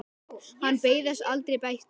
Hann beið þess aldrei bætur.